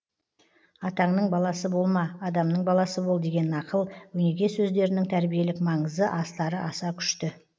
атаңның баласы болма адамның баласы бол деген нақыл өнеге сөздерінің тәрбиелік маңызы астары аса күшті